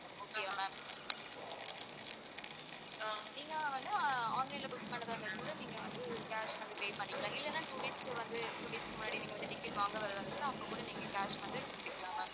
நீங்க வந்து ஆஹ் online ல book பண்றதாயிருந்தாக்கூட நீங்க வந்து cash வந்து pay பண்ணிக்கலாம் இல்லன்னா two days க்கு வந்து two days க்கு முன்னாடி நீங்க வந்து ticket வாங்க வர்றதா இருந்தா அப்போகூட நீங்க cash வந்து கொடுத்துக்கலாம் ma'am